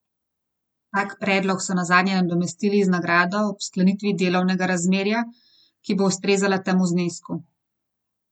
Tak predlog so nazadnje nadomestili z nagrado ob sklenitvi delovnega razmerja, ki bo ustrezala temu znesku.